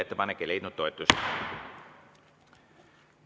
Ettepanek ei leidnud toetust.